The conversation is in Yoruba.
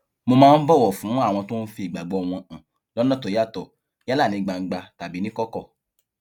mo máa ń bòwò fún àwọn tó ń fi ìgbàgbó wọn hàn lónà tó yàtò yálà ní gbangba tàbí níkòkò